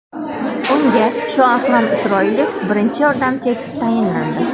Unga Shoakrom Isroilov birinchi yordamchi etib tayinlandi .